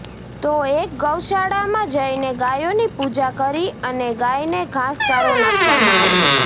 તો એક ગૌશાળામાં જઈને ગાયોની પૂજા કરી અને ગાયને ઘાસ ચારો નાખવામાં આવ્યો